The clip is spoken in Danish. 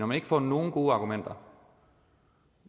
man ikke får nogen gode argumenter